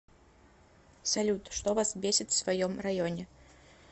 салют что вас бесит в своем районе